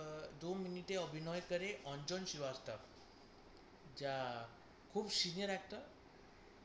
আ~ দু মিনিটে অভিনয়কারী অঞ্জন শ্রীবাস্তব যা খুব senior actor,